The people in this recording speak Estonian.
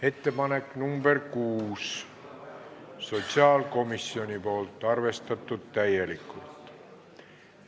Ettepanek nr 6, esitanud sotsiaalkomisjon, arvestatud täielikult.